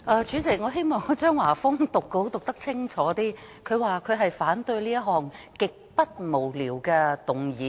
主席，我希望張華峰議員讀稿可以讀得更清楚一點，他說他反對這項"極不無聊"的議案。